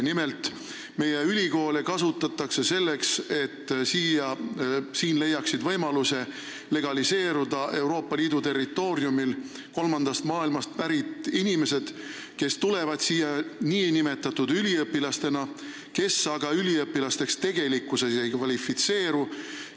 Nimelt, meie ülikoole kasutatakse selleks, et siin, Euroopa Liidu territooriumil, leiaksid võimaluse legaliseeruda kolmandast maailmast pärit inimesed, kes tulevad siia nn üliõpilastena, aga üliõpilasteks tegelikkuses ei kvalifitseeru.